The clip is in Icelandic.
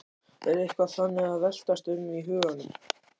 Er eitthvað þannig að veltast um í huganum?